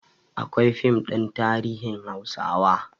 Akwai fim ɗin tarihin hausawa